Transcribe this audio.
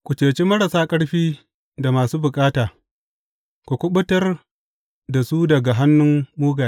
Ku ceci marasa ƙarfi da masu bukata; ku kuɓutar da su daga hannun mugaye.